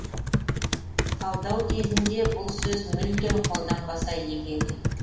талдау кезінде бұл сөз мүлдем қолданбаса игі еді